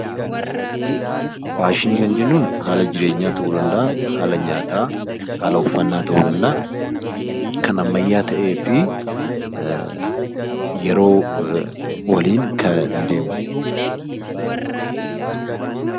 Faashinii kan jennuun haala jireenyaa ta'uu danda'a, haala nyaataa, haala uffannaa ta'uu danda'a, kan ammayyaa ta'ee fi yeroo waliin kan deemu.